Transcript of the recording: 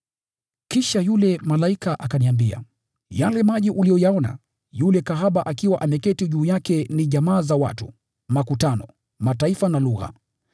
Kisha yule malaika akaniambia, “Yale maji uliyoyaona yule kahaba akiwa ameketi juu yake ni jamaa, makutano, mataifa na lugha.